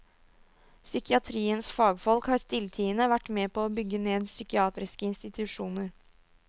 Psykiatriens fagfolk har stilltiende vært med på å bygge ned psykiatriske institusjoner.